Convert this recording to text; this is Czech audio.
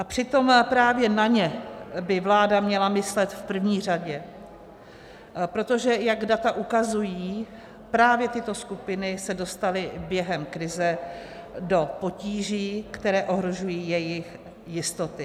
A přitom právě na ně by vláda měla myslet v první řadě, protože jak data ukazují, právě tyto skupiny se dostaly během krize do potíží, které ohrožují jejich jistoty.